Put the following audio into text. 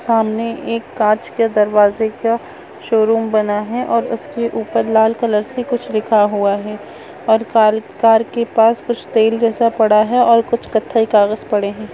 सामने एक कांच के दरवाजे का शोरूम बना है और उसके ऊपर लाल कलर से कुछ लिखा हुआ है और कार के पास कुछ तेल जैसा पड़ा है और कुछ कथई कागज पड़े हैं।